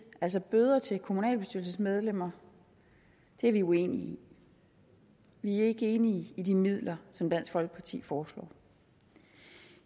altså bøder til kommunalbestyrelsesmedlemmer er vi uenige i vi er ikke enige i de midler som dansk folkeparti foreslår